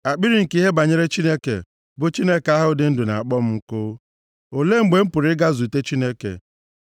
Akpịrị nke ihe banyere Chineke, bụ Chineke ahụ dị ndụ, na-akpọ m nkụ. Olee mgbe m pụrụ ịga zute Chineke?